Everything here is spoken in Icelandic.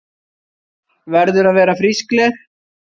Verður að vera frískleg.